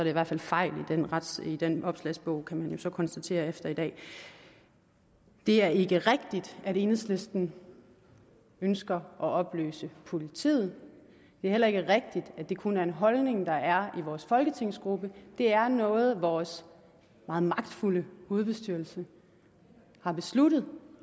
i hvert fald fejl i den opslagsbog kan man jo så konstatere efter i dag det er ikke rigtigt at enhedslisten ønsker at opløse politiet det er heller ikke rigtigt at det kun er en holdning der er i vores folketingsgruppe det er noget vores meget magtfulde hovedbestyrelse har besluttet